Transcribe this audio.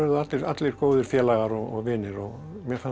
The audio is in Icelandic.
allir góðir félagar og vinir mér fannst